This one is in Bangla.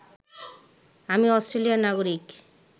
আমি অষ্ট্রেলিয়ার নাগরিক